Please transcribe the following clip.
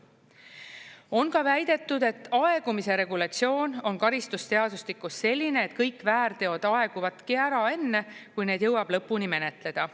On ka väidetud, et aegumise regulatsioon on karistusseadustikus selline, et kõik väärteod aeguvadki ära enne, kui need jõuab lõpuni menetleda.